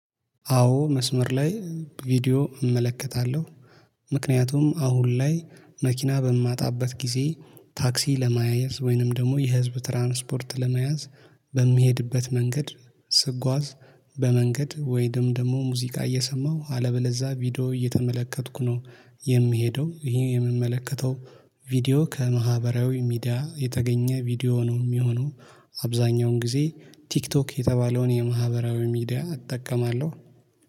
አዎ መስመር ላይ ቪዲዮ እመለከታለሁ። ምክንያቱም አሁን ላይ መኪና በማጣበት ጊዜ ታክሲ ለመያዝ ወይንም ደግሞ የህዝብ ትራንስፖርት ለመያዝ በሚሄድበት መንገድ ስጓዝ በመንገድ ወይንም ደግሞ ሙዚቃ እየሰማሁ አለበለዛ ቪዲዮ እየተመለከትኩ ነው። የምሄደው ይህ የምመለከተው ቪዲዮ ከማህበራዊ ሚዲያ የተገኘ ቪዲዮ ነው የሚሆነው። አብዛኛውን ጊዜ ቲክቶክ የተባለውን የማህበራዊ ሚዲያ እጠቀማለሁ